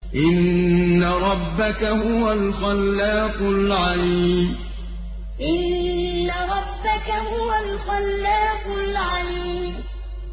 إِنَّ رَبَّكَ هُوَ الْخَلَّاقُ الْعَلِيمُ إِنَّ رَبَّكَ هُوَ الْخَلَّاقُ الْعَلِيمُ